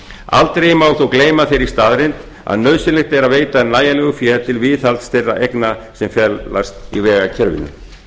aldrei má þó gleyma þeirri staðreynd að nauðsynlegt er að veita nægjanlegu fé til viðhalds þeirra eigna sem felast í vegakerfinu